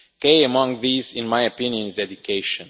Key among these, in my opinion, is education.